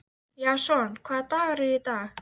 Kona hans var Helga, systir Björns ríka.